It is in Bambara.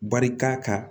Barika ka